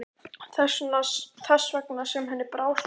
Þess vegna sem henni brá svona illa.